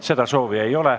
Seda soovi ei ole.